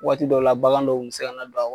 Waati dɔw la, baganw dɔw bɛ se kana don a kɔnɔ.